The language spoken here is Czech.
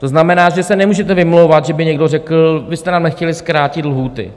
To znamená, že se nemůžete vymlouvat, že by někdo řekl: Vy jste nám nechtěli zkrátit lhůty.